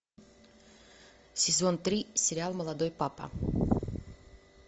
сезон три сериал молодой папа